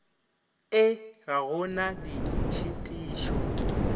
ee ga go na ditšhitišo